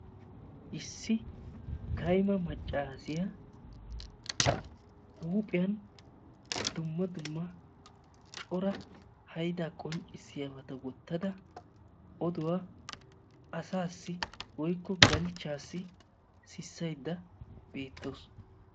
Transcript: Issi kaymma maccaasiya huuphphiyan dumma dumma Cora haydaa qonccissiyabata wottada oduwa asaassi woykko galchchaassi sissayda beettawusu.